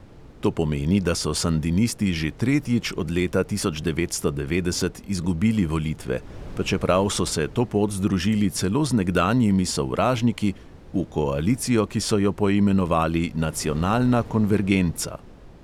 To pomeni, da so sandinisti že tretjič od leta tisoč devetsto devetdeset izgubili volitve, pa čeprav so se to pot združili celo z nekdanjimi sovražniki v koalicijo, ki so jo poimenovali nacionalna konvergenca.